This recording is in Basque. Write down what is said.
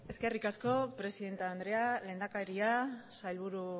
eskerrik asko presidente andrea lehendakaria sailburu